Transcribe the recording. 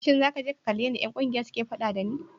Shin za ka je ka kalli yadda ’yan kungiyar suke fada da ni?